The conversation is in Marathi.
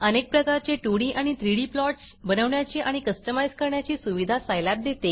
अनेक प्रकारचे 2डी आणि 3डी प्लॉट्स बनवण्याची आणि कस्टमाईज करण्याची सुविधा सायलॅब देते